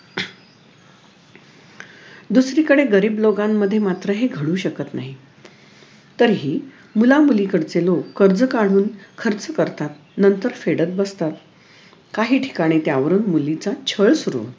दुसरीकडे गरीब लोकांमध्ये मात्र हे घडू शकत नाही तरीही मुलामुली कडचे लोक कर्ज काधून खर्च करतात नंतर फेडत बसतात काही ठिकाणी त्यावरून मुलीचा छळ सुरु